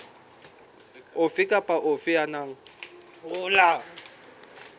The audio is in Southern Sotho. ofe kapa ofe ya nang